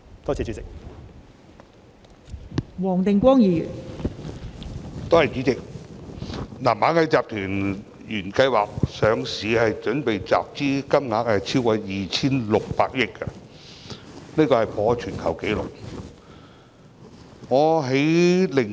代理主席，螞蟻集團原計劃集資的金額超過 2,600 億元，破全球紀錄。